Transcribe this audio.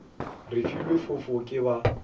re filwe fofo ke ba